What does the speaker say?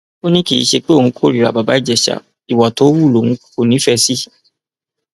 ó ní kì í ṣe pé òun kórìíra baba ìjèṣà ìwà tó hù lòun kò nífẹẹ sí